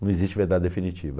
Não existe verdade definitiva.